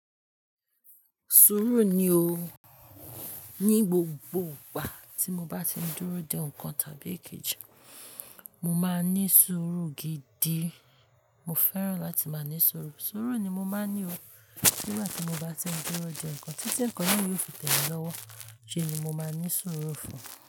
Sùúrù ni o. Ni gbogbo ìgbà tí mo bá ti ń dúró de ọkan tàbí èkejì, mo máa ní sùúrù gidi. Mo fẹ́ràn láti máa ní sùúrù. Sùúrù ni mo máa ń ní o. Nígbà tí mo bá ti ń dúró de nǹkan, títí ẹ̀ńkan náà yóò fi tẹ̀lé lọ́wọ́, ṣé ni mo máa ní sùúrù fún un.